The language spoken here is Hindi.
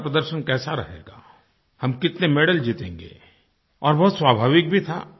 भारत का प्रदर्शन कैसा रहेगा हम कितने मेडल जीतेंगे और बहुत स्वाभाविक भी था